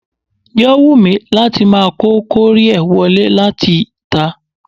Yò wù mí láti máa kó kọ́ríẹ̀ wọ lé láti tà.